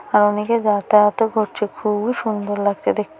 আর অনেকে যাতায়াত ও করছে খুবই সুন্দর লাগছে দেখতে।